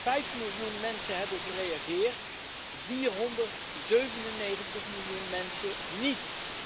Vijf miljoen mensen hebben gereageerd, 497 miljoen mensen niet.